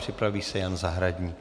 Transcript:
Připraví se Jan Zahradník.